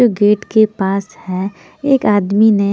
जो गेट के पास है एक आदमी ने --